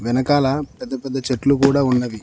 వెనకాల పెద్ద పెద్ద చెట్లు గూడా ఉన్నవి.